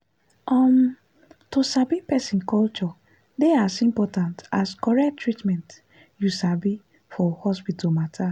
umm to sabi person culture dey as important as correct treatment you sabi for hospital matter.